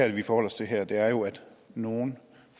det vi forholder os til her er jo at nogle